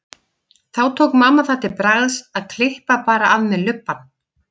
Þá tók mamma það til bragðs að klippa bara af mér lubbann.